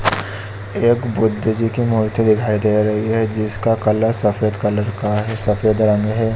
एक बुद्ध जी की मूर्ति दिखाई दे रही है जिसका कलर सफ़ेद कलर का है सफ़ेद रंग है।